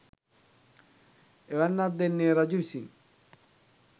එවැන්නක් දෙන්නේ රජු විසින්